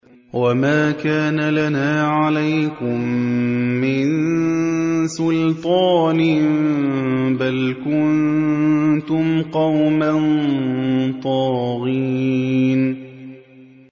وَمَا كَانَ لَنَا عَلَيْكُم مِّن سُلْطَانٍ ۖ بَلْ كُنتُمْ قَوْمًا طَاغِينَ